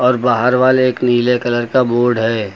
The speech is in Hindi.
और बाहर वाले एक नीले कलर का बोर्ड है।